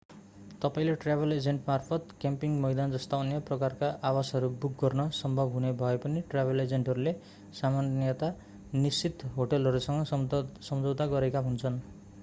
तपाईंले ट्राभल एजेन्टमार्फत क्याम्पिङ मैदान जस्ता अन्य प्रकारका आवासहरू बुक गर्न सम्भव हुने भए पनि ट्राभल एजेन्टहरूले सामान्यतया निश्चित होटलहरूसँग सम्झौता गरेका हुन्छन्